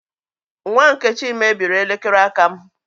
Nwa Nkechi mebiri elekere aka m